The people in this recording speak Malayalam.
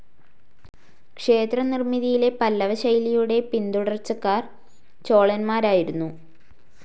ക്ഷേത്ര നിർമിതിയിലെ പല്ലവ ശൈലിയുടെ പിന്തുടർച്ചക്കാർ ചോളന്മാരായിരുന്നു.